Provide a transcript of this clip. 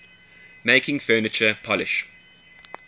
making furniture polish